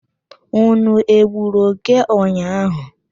Ụnụ egburu òké ụnyaahụ?